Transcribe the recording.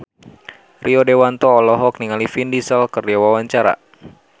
Rio Dewanto olohok ningali Vin Diesel keur diwawancara